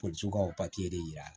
ka de yir'a la